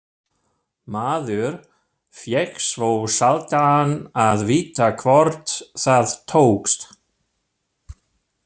Maður fékk svo sjaldan að vita hvort það tókst.